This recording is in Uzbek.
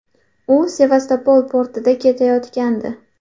U Sevastopol portiga ketayotgandi.